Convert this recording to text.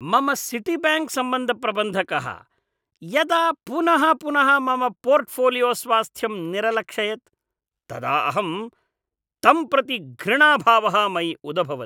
मम सिटीब्याङ्क् सम्बन्धप्रबन्धकः यदा पुनः पुनः मम पोर्टफ़ोलियोस्वास्थ्यम् निरलक्षयत् तदा अहं तं प्रति घृणाभावः मयि उदभवत्।